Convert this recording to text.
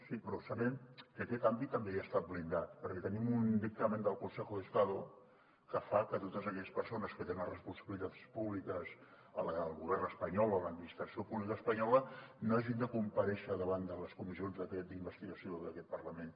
sí però sabem que aquest àmbit també ja ha estat blindat perquè tenim un dictamen del consejo de estado que fa que totes aquelles persones que tenen responsabilitats públiques al govern espanyol o a l’administració pública espanyola no hagin de comparèixer davant de les comissions d’investigació d’aquest parlament